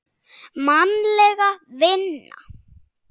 Mannleg vinna